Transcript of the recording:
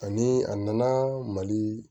Ani a nana mali